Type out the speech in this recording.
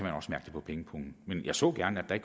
på pengepungen men jeg så gerne at